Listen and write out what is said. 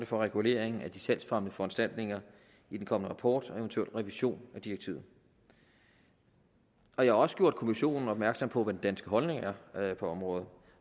for regulering af de salgsfremmende foranstaltninger i den kommende rapport og eventuelt revision af direktivet jeg har også gjort kommissionen opmærksom på hvad den danske holdning er er på området